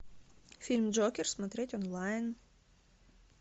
фильм джокер смотреть онлайн